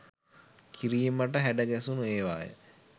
කිරීමට හැඩගැසුණු ඒවාය